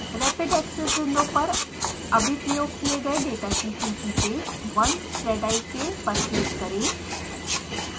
rapid access window पर अभी उपयोग किये डेटा की सूची से 1zik पर क्लिक करें